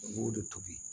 U b'o de tobi